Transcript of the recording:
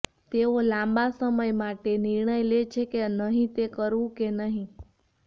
તેઓ લાંબા સમય માટે નિર્ણય લે છે કે નહીં તે કરવું કે નહીં